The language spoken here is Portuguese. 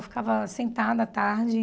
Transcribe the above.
Eu ficava sentada à tarde.